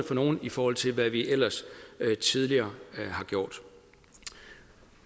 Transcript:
for nogle i forhold til hvad vi ellers tidligere har gjort